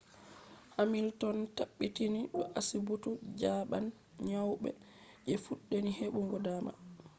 hamilton tabbitini do asibitu jaɓan nyauɓe je fuɗɗi heɓugo dama